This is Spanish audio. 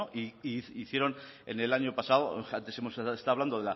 e hicieron el año pasado antes hemos estado hablando